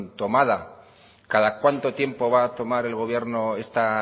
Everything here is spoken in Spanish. tomada cada cuánto tiempo va a tomar el gobierno esta